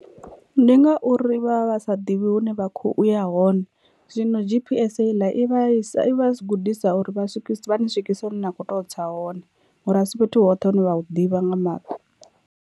Ndi ngauri vha vha sa ḓivhi hune vha khou ya hone zwino G_P_S heiḽa i vha i vha gudisa uri vha swikise vha ni swikise hune na kho tea u tsa hone ngori a si fhethu hoṱhe hune vha hu ḓivha nga maṱo.